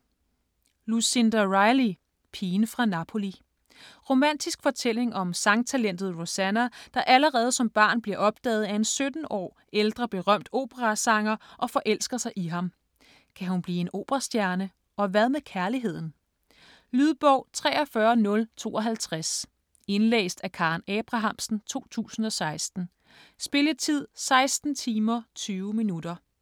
Riley, Lucinda: Pigen fra Napoli Romantisk fortælling om sangtalentet Rosanna, der allerede som barn bliver opdaget af en 17 år ældre berømt operasanger og forelsker sig i ham. Kan hun blive en operastjerne? Og hvad med kærligheden? Lydbog 43052 Indlæst af Karen Abrahamsen, 2016. Spilletid: 16 timer, 20 minutter.